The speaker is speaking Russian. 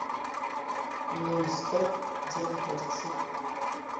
нонстоп где находится